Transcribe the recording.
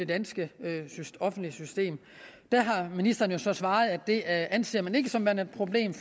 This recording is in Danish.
danske offentlige system der har ministeren så svaret at det anser man ikke som værende et problem